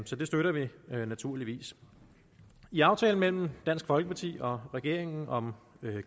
så det støtter vi naturligvis i aftalen mellem dansk folkeparti og regeringen om